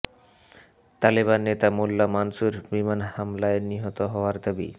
তালেবান নেতা মোল্লা মানসুর বিমান হামলায় নিহত হওয়ার দাবি